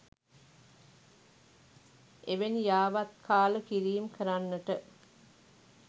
එවැනි යාවත්කාල කිරීම් කරන්නට